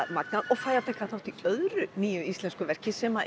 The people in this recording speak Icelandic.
magnað og fæ að taka þátt í öðru íslensku verki sem